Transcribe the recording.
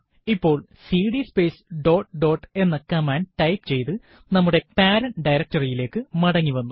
ഇപ്പോൾ CD space dot dot എന്ന command type ചെയ്ത് നമ്മുടെ പേരന്റ് directory യിലേക്ക് മടങ്ങിവന്നു